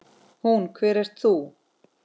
Hún: Hver ert þú?